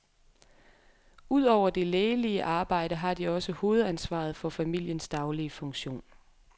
Ud over det lægelige arbejde har de også hovedansvaret for familiens daglige funktion.